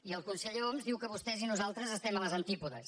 i el conseller homs diu que vostès i nosaltres estem a les antípodes